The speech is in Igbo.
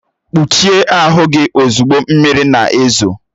Kpuchie ahụ gị ozugbo, mmiri na-ezo!